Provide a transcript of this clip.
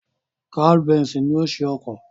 Carl Benz ni ó ṣe ọkọ̀